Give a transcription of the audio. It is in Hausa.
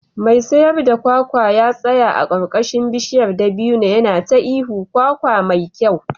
Mai sayar da kwakwa ya tsaya a karkashin bishiyar dabino yana ta ihun "kwakwa mai kyau"